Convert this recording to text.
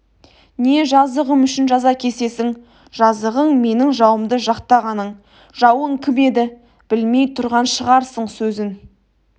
не жазығым үшін жаза кесесің жазығың менің жауымды жақтағаның жауың кім еді білмей тұрған шығарсың сөзін